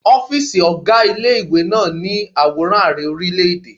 Ọ́fíìsì ọgá ilé ìwé náà ní àwòrán àrẹ orílẹ̀ẹ̀dè.